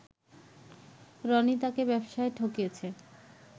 রনি তাকে ব্যবসায় ঠকিয়েছে